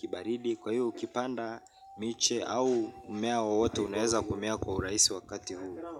kibaridi. Kwa hiyo ukipanda miche au mmea wo wote unaeza kumea kwa uraisi wakati huu.